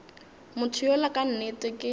motho yola ka nnete ke